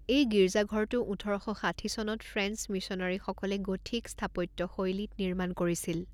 এই গীৰ্জাঘৰটো ওঠৰ শ ষাঠি চনত ফ্ৰেঞ্চ মিছনাৰীসকলে গথিক স্থাপত্যশৈলীত নিৰ্মাণ কৰিছিল।